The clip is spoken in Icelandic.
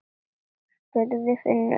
spurði Finnur.